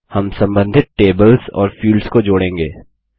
हम सम्बन्धित टेबल्स और फील्ड्स को जोड़ेंगे